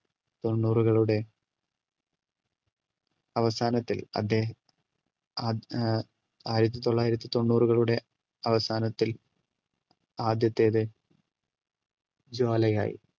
തൊണ്ണൂറുകളുടെ അവസാനത്തിൽ അദ്ദേഹം അ എ ആയിരത്തി തൊള്ളായിരത്തി തൊണ്ണൂറുകളുടെ അവസാനത്തിൽ ആദ്യത്തേത് ജ്വാലയായ്